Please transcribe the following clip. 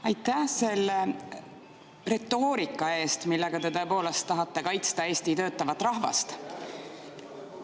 Aitäh selle retoorika eest, millega te tõepoolest tahate kaitsta Eesti töötavat rahvast!